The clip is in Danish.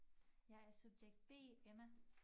Jeg er subjekt B Emma